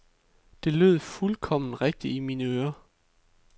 Det lød fuldkommen rigtigt i mine øren.